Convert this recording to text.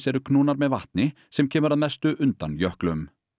eru knúnar með vatni sem kemur að mestu undan jöklum